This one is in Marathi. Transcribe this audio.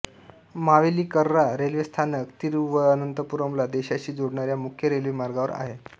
मावेलीक्करा रेल्वे स्थानक तिरुवअनंतपुरमला देशाशी जोडणाऱ्या मुख्य रेल्वेमार्गावर आहे